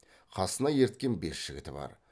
қасына ерткен бес жігіті бар